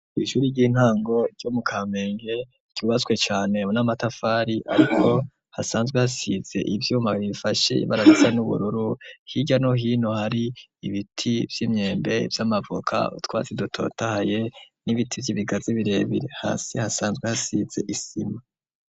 Ishuri ry'intango byo mu kamenge cubaswe cyane n'amatafari ariko hasanzwe hasitse ibyuma bibifashe barabitsa n'ubururu hijano hino hari ibiti by'imyembe by'amavuka twasi dutotaaye n'ibiti by'ibigaze birebire hasi hasanzwe hasitse isima.